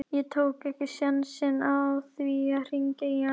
Ég tók ekki sénsinn á því að hringja í hana.